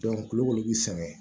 kulukoro bi sɛgɛn